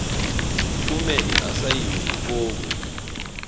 kumele asayine ifomu